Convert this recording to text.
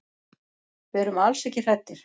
Við erum alls ekki hræddir.